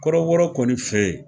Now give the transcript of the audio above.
Kɔrɔbɔrɔ kɔni fe yen.